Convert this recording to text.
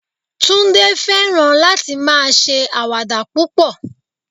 Tunde fẹ́ràn láti máa ṣe àwàdà púpọ̀